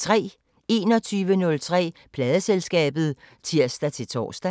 21:03: Pladeselskabet (tir-tor)